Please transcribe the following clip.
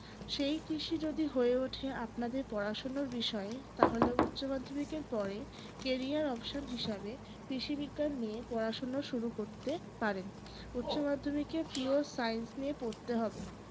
সেই কৃষি যদি হয়ে ওঠে আপনাদের পড়াশোনার বিষয় তাহলে উচ্চমাধ্যমিকের পরে career option হিসেবের কৃষিবিজ্ঞান নিয়ে পড়াশোনা শুরু করতে পারেন। উচ্চমাধ্যমিকে pure science নিয়ে পড়তে হবে